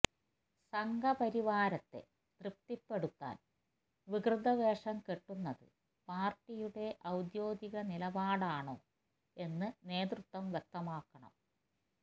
സംഘപരിവാരത്തെ തൃപ്തിപ്പെടുത്താന് വികൃതവേഷം കെട്ടുന്നത് പാര്ട്ടിയുടെ ഔദ്യോഗിക നിലപാടാണോ എന്ന് നേതൃത്വം വ്യക്തമാക്കണം